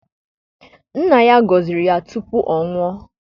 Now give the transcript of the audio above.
Nna ya gọziri ya tupu ọ nwụọ.